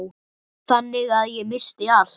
Þannig að ég missti allt.